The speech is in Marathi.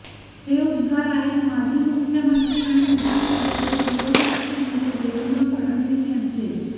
हे उद्गार आहेत माजी मुख्यमंत्री आणि विधानसभेतील विरोधी पक्षनेते देवेंद्र फडणवीस यांचे